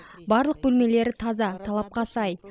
барлық бөлмелері таза талапқа сай